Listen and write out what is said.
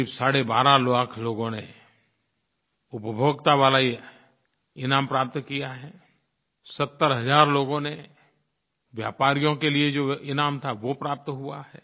क़रीब साढ़े बारह लाख लोगों ने उपभोक्ता वाला ये इनाम प्राप्त किया है 70 हज़ार लोगों ने व्यापारियों के लिये जो इनाम था वो प्राप्त हुआ है